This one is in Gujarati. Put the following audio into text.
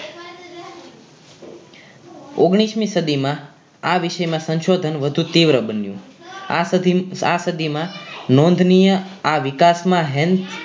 ઓગ્નીશ મી સદીમાં આ વિશેમાં સંશોધન વધુ તીવ્ર બન્યું આ સધીમ આ સદીમાં નોંધનીય આ વિકાસમાં હેન્થ